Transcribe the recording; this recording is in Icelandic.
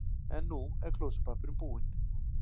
. er nú klósettpappírinn búinn.